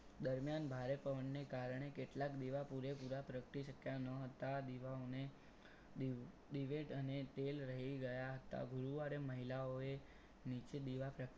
દરમિયાન ભારે પવનને કારણે કેટલાક દીવા પૂરેપૂરા પ્રગતિ શક્યા ન હતા. દીવાઓને દિવેટ અને તેલ રહી ગયા હતા ગુરુવારે મહિલાઓએ નીચે દીવા પ્રગ